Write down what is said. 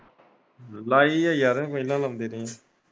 ਲਾਈਦੀ ਹੈ ਯਾਰ ਪਹਿਲਾਂ ਲਾਉਂਦੇ ਰਹੇ ਆ।